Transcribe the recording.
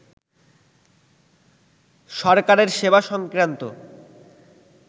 সরকারের সেবা সংক্রান্ত